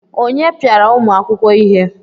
Onye piara ụmụ akwụkwọ ihe?